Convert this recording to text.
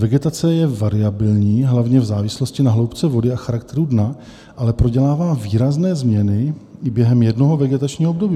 Vegetace je variabilní hlavně v závislosti na hloubce vody a charakteru dna, ale prodělává výrazné změny i během jednoho vegetačního období.